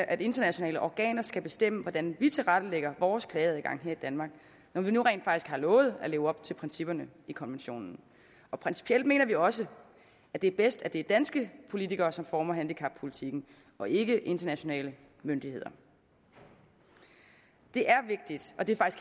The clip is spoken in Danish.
at internationale organer skal bestemme hvordan vi tilrettelægger vores klageadgange her i danmark når vi nu rent faktisk har lovet at leve op til principperne i konventionen og principielt mener vi også at det er bedst at det er danske politikere som former handicappolitikken og ikke internationale myndigheder det er vigtigt og det